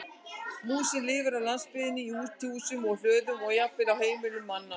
Músin lifir á landsbyggðinni í útihúsum, hlöðum og jafnvel á heimilum manna.